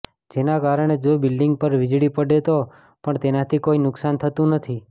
જેના કારણે જો બિલ્ડિંગ પર વીજળી પડે તો પણ તેનાથી કોઈ નુક્સાન થતું નથી